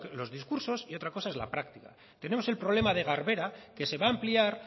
los discursos y otra cosa es la práctica tenemos el problema de garbera que se va a ampliar